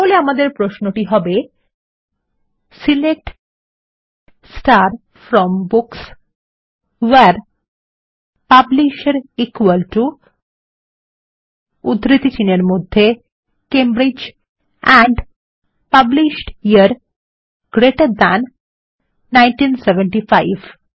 তাহলে আমাদের প্রশ্নটি হবে160 select from books where publisher Cambridge and published year GT 1975